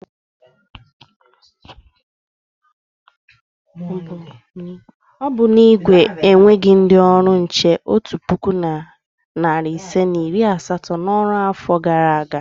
Ọ bụ na Igwe enweghi ndị ọrụ nche otu puku na narị isii na iri asatọ n'ọrụ n'afọ gara aga?